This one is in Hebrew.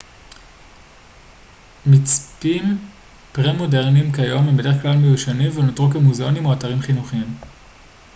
מצפים פרה-מודרניים כיום הם בדרך כלל מיושנים ונותרו כמוזאונים או אתרים חינוכיים